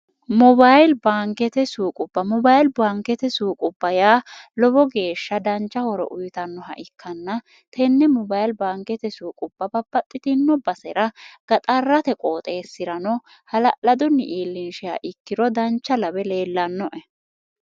mobayili baankete suuqubba mobayili baankete suuqubba yaa lowo geeshsha dancha horo uyitannoha ikkanna tenne mobayili baankete suuquba babbaxxitino basera gaxarrate qooxeessi'rano hala'ladunni iillinshiha ikkiro dancha labe leellannoe